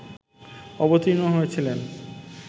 অবতীর্ণ হয়েছিলেন